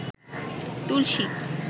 তুলসী